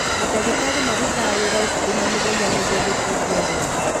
mandagĩtarĩ marutaga wĩra ũtukũ na mũthenya nĩguo gũteithia arwaru.